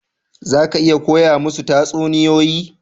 Za ki iya koya musu tatsuniyoyi?